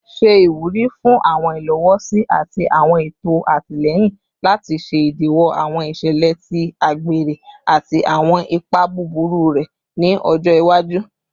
Ṣe iwuri fun awọn ilowosi ati awọn eto atilẹyin lati ṣe idiwọ awọn iṣẹlẹ ti agbere ati awọn ipa buburu rẹ ni ọjọ iwaju